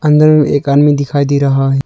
अंदर में एक आदमी दिखाई दे रहा है।